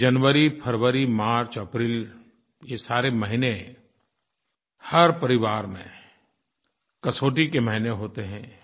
जनवरी फ़रवरी मार्च अप्रैल ये सारे महीने हर परिवार में कसौटी के महीने होते हैं